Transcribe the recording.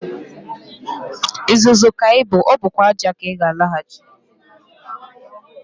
Uzuzu ka ị bụ, ọ bụkwa ájá ka ị ga-alaghachi.